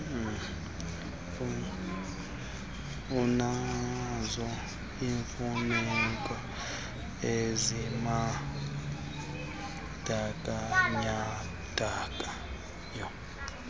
unazo iimfuneko ezibandakanyekayo